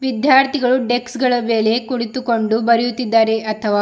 ವಿದ್ಯಾರ್ಥಿಗಳು ಡೆಸ್ಕ್ ಗಳ ಮೇಲೆ ಕುಳಿತುಕೊಂಡು ಬರೆಯುತ್ತಿದ್ದಾರೆ ಅಥವಾ--